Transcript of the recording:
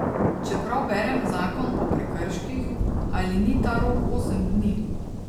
Če prav berem zakon o prekrških, ali ni ta rok osem dni?